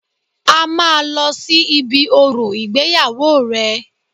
A máa lọ sí ibi orò ìgbéyàwó rẹ̀